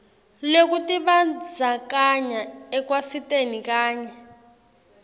lwekutibandzakanya ekwatiseni kanye